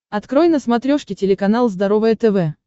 открой на смотрешке телеканал здоровое тв